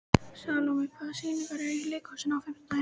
Salome, hvaða sýningar eru í leikhúsinu á fimmtudaginn?